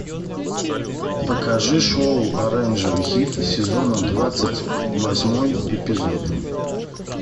покажи шоу оранжевый хит сезона двадцать восьмой эпизод